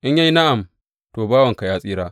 In ya yi na’am, to, bawanka ya tsira.